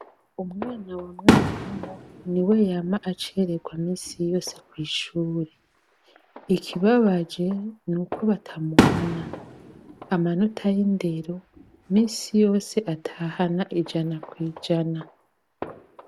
Umwana wa mwarimu niwe yama acererwa misi yose kw'ishure, ikibabaje nuko batamuhana, amanota y'indero misi yose atahana ijana kw'ijana.